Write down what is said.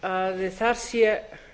að þar sé